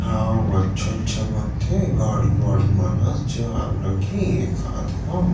हाओ अच्छा-अच्छा बनथे गाड़ी-वाड़ी मन ह जाए लगहि एकात घाव --